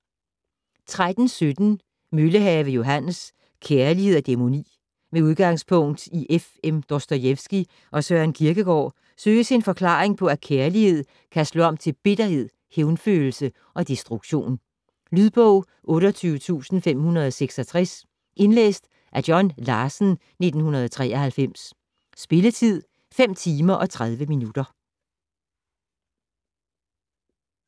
13.17 Møllehave, Johannes: Kærlighed og dæmoni Med udgangspunkt i F.M. Dostojevskij og Søren Kierkegaard søges en forklaring på at kærlighed kan slå om til bitterhed, hævnfølelse og destruktion. Lydbog 28566 Indlæst af John Larsen, 1993. Spilletid: 5 timer, 30 minutter.